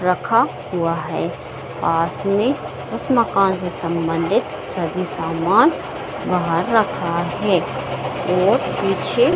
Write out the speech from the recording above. रखा हुआ है अ उसमे उस मकान से सम्बंधित सभी सामान बहार रखा है और पीछे --